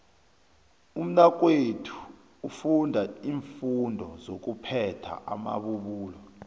umnakwethu ufunda iimfundo sokuphatha amabubulo